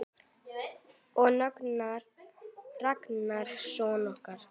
Og Ragnar son okkar.